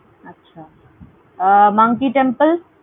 আচ্ছা. Ah Monkey Temple?